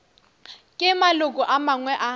ke maloko a mangwe a